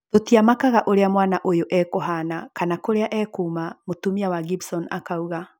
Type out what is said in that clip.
‘’Tũtiamakaga ũrĩa mwana ũyũ ekũhana kana kũrĩa ekuma’’ mũtumia wa Gibson akauga